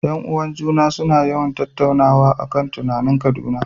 ’Yan uwan ​​juna suna yawan tattaunawa a kan titunan Kaduna.